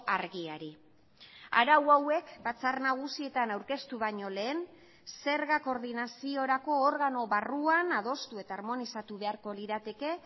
argiari arau hauek batzar nagusietan aurkeztu baino lehen zergak koordinaziorako organo barruan adostu eta armonizatu beharko lirateke